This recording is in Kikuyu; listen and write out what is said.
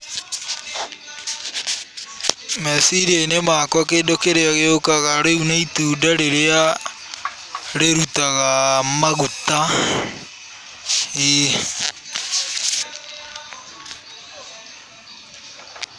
Meciria-inĩ makwa kĩrĩa gĩũkaga, rĩu nĩ itunda rĩrĩa rĩrutaga maguta.